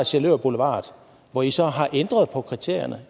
sjælør boulevard hvor i så har ændret på kriterierne